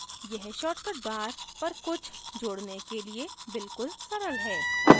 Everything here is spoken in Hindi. यह shortcut bar पर कुछ जोड़ने के लिए बिल्कुल सरल है